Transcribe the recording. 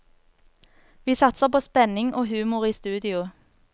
Vi satser på spenning og humor i studio.